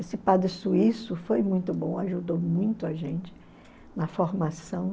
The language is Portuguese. Esse padre suíço foi muito bom, ajudou muito a gente na formação.